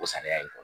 O saniya in